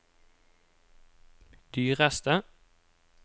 dyreste